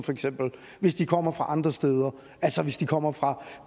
hvis de kommer fra andre steder altså hvis de kommer fra